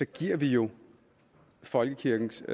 giver vi jo folkekirkens